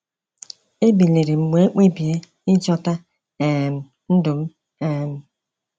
Ebilirim wee kpebie ichikọta um ndụm um